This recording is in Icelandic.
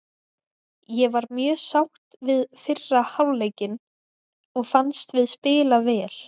Ég var mjög sátt við fyrri hálfleikinn og fannst við spila vel.